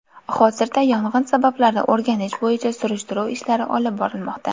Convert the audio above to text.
Hozirda yong‘in sabablarini o‘rganish bo‘yicha surishtiruv ishlari olib borilmoqda.